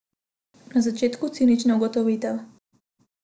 Na začetku cinična ugotovitev.